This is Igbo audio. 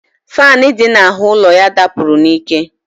Faanụ dị n'ahụ ụlọ ya dapụrụ n'ike